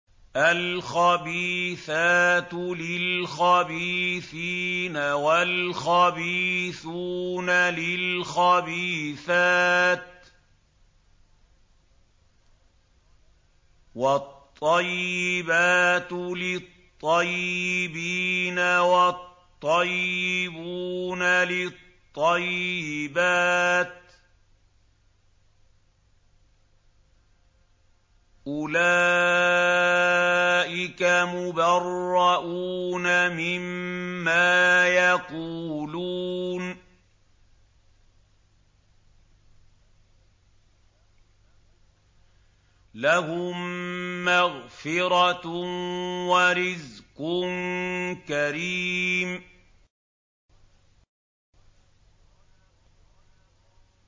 الْخَبِيثَاتُ لِلْخَبِيثِينَ وَالْخَبِيثُونَ لِلْخَبِيثَاتِ ۖ وَالطَّيِّبَاتُ لِلطَّيِّبِينَ وَالطَّيِّبُونَ لِلطَّيِّبَاتِ ۚ أُولَٰئِكَ مُبَرَّءُونَ مِمَّا يَقُولُونَ ۖ لَهُم مَّغْفِرَةٌ وَرِزْقٌ كَرِيمٌ